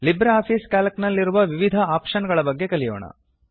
LibreOffice C A L C ನಲ್ಲಿರುವ ವಿವಿಧ option ಗಳ ಬಗ್ಗೆ ಕಲಿಯೋಣ